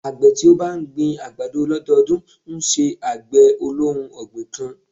Àgbẹ̀ tí ó bá ń gbin àgbàdo lọ́dọdún ńṣe àgbẹ̀ olóhun ọ̀gbìn kan.